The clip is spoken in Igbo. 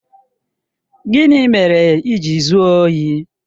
Gịnị mere i ji zuo ohi?